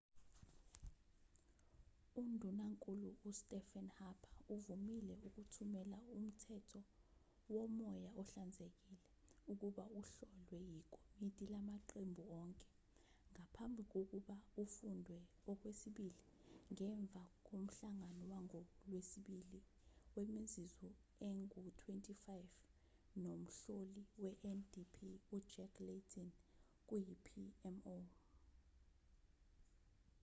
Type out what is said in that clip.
undunankulu ustephen harper uvumile ukuthumela umthetho womoya ohlanzekile' ukuba uhlolwe ikomiti lamaqembu onke ngaphambi kokuba ufundwe okwesibili ngemva komhlangano wangolwesibili wemizuzu engu-25 nomhloli wendp ujack layton kuyi-pmo